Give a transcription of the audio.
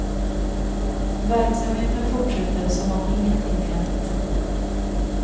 Verksamheten fortsätter som om ingenting hänt.